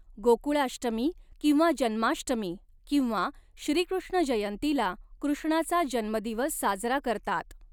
गोकुळाष्टमी किंवा जन्माष्टमी किंवा श्रीकृष्ण जयंतीला कृष्णाचा जन्मदिवस साजरा करतात.